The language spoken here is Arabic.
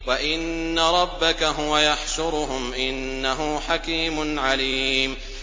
وَإِنَّ رَبَّكَ هُوَ يَحْشُرُهُمْ ۚ إِنَّهُ حَكِيمٌ عَلِيمٌ